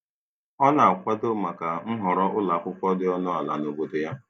Ọ na-akwado maka nhọrọ ụlọ akwụkwọ dị ọnụ ala na obodo ya.